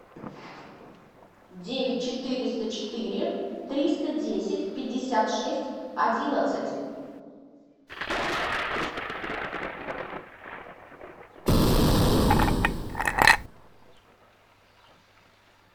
девять четыреста четыре триста десять пятьдесят шесть одиннадцать